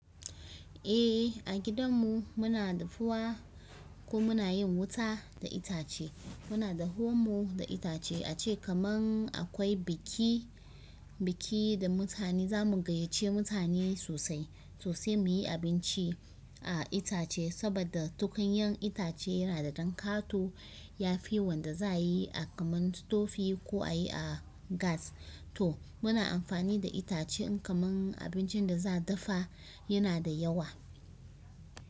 Eh, a gidan mu muna dafuwa ko muna yin wuta da itace. Muna da homo da itace ace kaman akwai biki, biki da mutane zamu gayyace mutane sosai, so sai muyi abinci a itace saboda tukunyan itace yana da dankato. Yafi wanda za a yi a kaman tofi ko a yi a gas. To muna amfani da itace in kaman abincin da za a dafa yana da yawa.